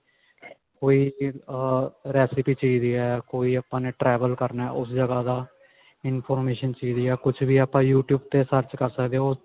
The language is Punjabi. ਕੋਈ ਅਹ recipe ਚਾਹੀਦੀ ਹੈ ਕੋਈ ਵੀ ਆਪਾਂ ਨੇ travel ਕਰਨਾ ਉਸ ਜਗ੍ਹਾ ਦਾ information ਚਾਹੀਦੀ ਹੈ ਕੁਛ ਵੀ ਆਪਾਂ youtube ਤੇ search ਕਰ ਸਕਦੇ ਹਾਂ